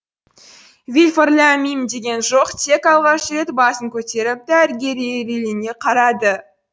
вильфор ләм мим деген жоқ тек алғаш рет басын көтеріп дәрігерге қарады